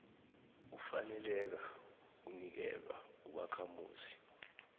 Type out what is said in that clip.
ufaneleka kunikelwa ubakhamuzi